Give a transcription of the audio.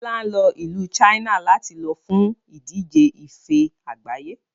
Bọlá ń lọ ìlú China láti lọ fún ìdíje ife àgbáyé